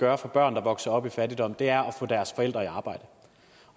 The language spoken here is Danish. gøre for børn der vokser op i fattigdom er at få deres forældre i arbejde